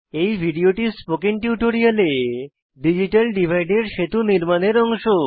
এই ভিডিওটি স্পোকেন টিউটোরিয়ালে ডিজিটাল ডিভাইড এর সেতু নির্মাণের এর অংশ